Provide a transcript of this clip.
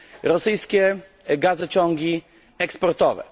rosyjskie gazociągi eksportowe.